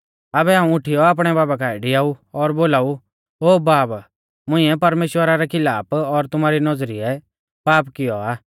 आबै हाऊं उठीयौ आपणै बाबा काऐ डिआऊ और बोलाऊ ओ बाब मुंइऐ परमेश्‍वरा रै खिलाफ और तुमारी नौज़रीऐ पाप कियौ आ